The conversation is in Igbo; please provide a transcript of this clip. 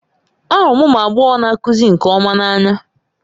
Ahụrụ m ụmụ agbọghọ na-akụzi nke ọma n'anya